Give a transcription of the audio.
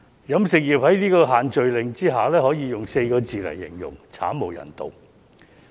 飲食業界在限聚令下只可以用4個字形容，便是慘無人道。